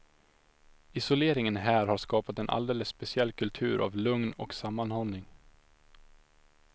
Isoleringen här har skapat en alldeles speciell kultur av lugn och sammanhållning.